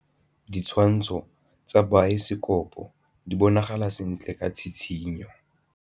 Ditshwantshô tsa biosekopo di bonagala sentle ka tshitshinyô.